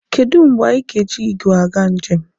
Kedụ mgbe anyị ga-eji igwe aga njem.